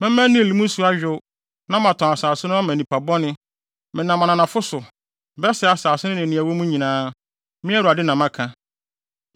Mɛma Nil mu nsu ayow na matɔn asase no ama nnipa bɔne; menam ananafo so bɛsɛe asase no ne nea ɛwɔ mu nyinaa. Me Awurade na maka.